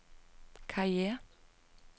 karriere